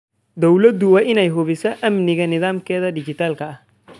Dawladdu waa inay hubisaa amniga nidaamkeeda dhijitaalka ah.